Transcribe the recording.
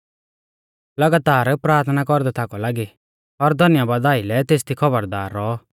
लगातार प्राथना कौरदै थाकौ लागी और धन्यबादा आइलै तेसदी खौबरदार रौऔ